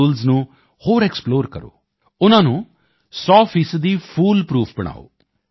tools ਨੂੰ ਹੋਰ explore ਕਰੇ ਉਨ੍ਹਾਂ ਨੂੰ ਸੌ ਫੀਸਦੀ ਫੂਲ ਪਰੂਫ ਬਣਾਏ